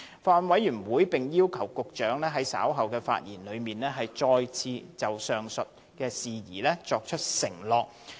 法案委員會並要求局長在稍後發言時，再次就上述事宜作出承諾。